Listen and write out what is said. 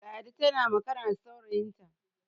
ladi tana magana da saurayinta